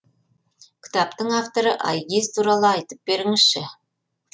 кітаптың авторы айгиз туралы айтып беріңізші